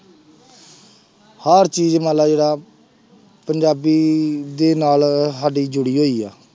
ਹਰ ਚੀਜ਼ ਮੰਨ ਲਾ ਜਿਹੜਾ ਪੰਜਾਬੀ ਦੇ ਨਾਲ ਸਾਡੀ ਜੁੜੀ ਹੋਈ ਹੈ।